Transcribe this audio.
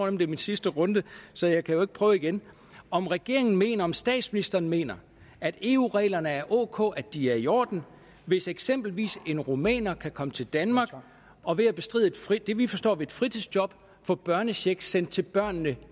er min sidste runde så jeg kan jo ikke prøve igen om regeringen mener om statsministeren mener at eu reglerne er ok at de er i orden hvis eksempelvis en rumæner kan komme til danmark og ved at bestride det vi forstår ved et fritidsjob få børnecheck sendt til børnene